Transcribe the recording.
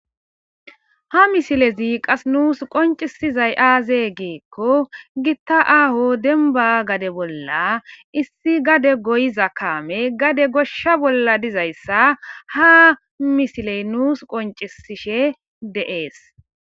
Ha misilezi qas nuus qoncisizay aazee geekko gitta aho denba gade bolla issi gade goyiza kaame gade goshsha bolla dizayssa ha misiley nuus qoncisishe deees